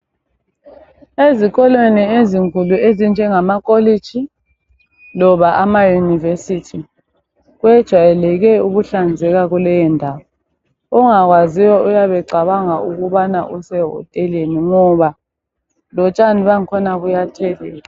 Ezikolweni ezinkulu ezinjengama kolitshi loba ama yunivesithi kwejayeleke ukuhlanzeka kuleyo ndawo ongakwaziyo uyabe cabanga ukubana usehoteleni ngoba lotshani bakhona buyathelelwa.